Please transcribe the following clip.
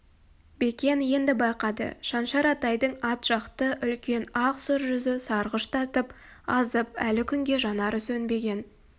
бекен енді байқады шаншар атайдың ат жақты үлкен ақ сұр жүзі сарғыш тартып азып әлі күнге жанары сөнбеген